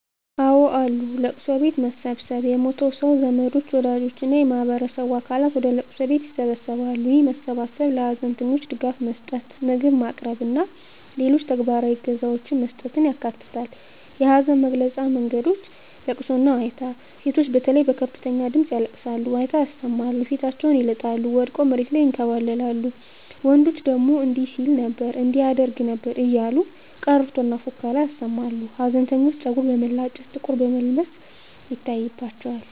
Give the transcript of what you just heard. አወ አሉ፦ ለቅሶ ቤት መሰብሰብ የሞተው ሰው ዘመዶች፣ ወዳጆች እና የማህበረሰቡ አባላት ወደ ለቅሶ ቤት ይሰበሰባሉ። ይህ መሰባሰብ ለሀዘንተኞች ድጋፍ መስጠት፣ ምግብ ማቅረብ እና ሌሎች ተግባራዊ እገዛዎችን መስጠትን ያካትታል። የሀዘን መግለጫ መንገዶች * ለቅሶና ዋይታ: ሴቶች በተለይ በከፍተኛ ድምጽ ያለቅሳሉ፣ ዋይታ ያሰማሉ፣ ፊታቸውን ይልጣሉ፣ ወድቀው መሬት ላይ ይንከባለላሉ፤ ወንዶች ደግሞ እንዲህ ሲል ነበር እንዲህ ያደርግ ነበር እያሉ ቀረርቶና ፉከራ ያሰማሉ። ሀዘንተኞች ፀጉር መላጨት፣ ጥቁር መልበስ ይታይባቸዋል።